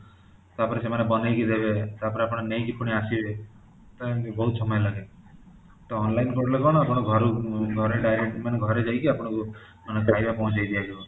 ତାପରେ ସେମାନେ ବାନେଇକି ଦେବେ ତାପରେ ଆପଣ ନେଇକି ପୁଣି ଆସିବେ ତ ଏମିତି ବହୁତ ସମୟ ଲାଗେ ତ online କଲେ କଣ ଆପଣ ଘରୁ ଘରୁ direct ମାନେ ଘରେ ଯାଇକି ଆପଣାକୁ ମାନେ ଖାଇବା ପହଞ୍ଚେଇ ଦିଆଯିବ